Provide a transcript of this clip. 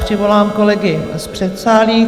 Přivolám kolegy z předsálí.